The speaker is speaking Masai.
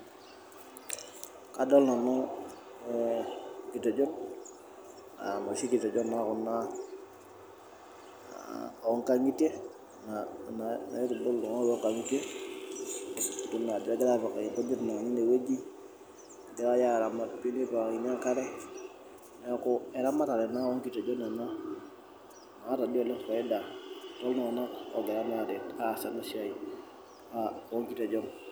Kadol nanu nkitejon ,nashi kitejon naa kuna oonkangitie, naitibitu iltunganak toonkangitie idol na ajo egirae apikaki nkujit tineweji, egirae apikaki enkare, neeku eramatare onkitejon ena naata doi oleng faida tooltungank ogira aas ena siai onkitejon.